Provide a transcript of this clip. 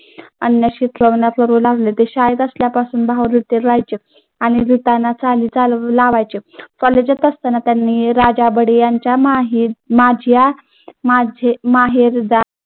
करू लागले ते शाळेत असल्यापासून कोलेजात असतांना त्यांनी राजा बडी यांच्या माहीर